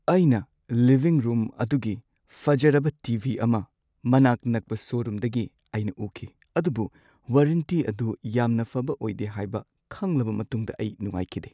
ꯑꯩꯅ living room ꯑꯗꯨꯒꯤ ꯐꯖꯔꯕ ꯇꯤ. ꯚꯤ. ꯑꯃ ꯃꯅꯥꯛ ꯅꯛꯄ ꯁꯣꯔꯨꯝꯗꯒꯤ ꯑꯩꯅ ꯎꯈꯤ ꯑꯗꯨꯕꯨ ꯋꯥꯔꯦꯟꯇꯤ ꯑꯗꯨ ꯌꯥꯝꯅ ꯐꯕ ꯑꯣꯏꯗꯦ ꯍꯥꯏꯕ ꯈꯪꯂꯕ ꯃꯇꯨꯡꯗ ꯑꯩ ꯅꯨꯉꯥꯏꯈꯤꯗꯦ ꯫